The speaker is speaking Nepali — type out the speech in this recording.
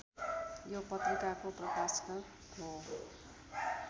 यो पत्रिकाको प्रकाशक हो